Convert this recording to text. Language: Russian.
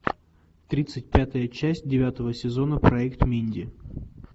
тридцать пятая часть девятого сезона проект минди